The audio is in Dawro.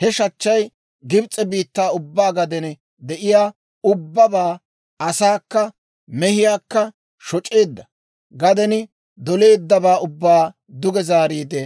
He shachchay Gibs'e biittaa ubbaa gaden de'iyaa ubbabaa, asaakka mehiyaakka shoc'eedda; gaden doleeddabaa ubbaa duge zaariide